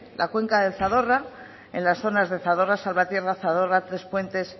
la cuenca del zadorra en las zonas del zadorra salvatierra zadorra trespuentes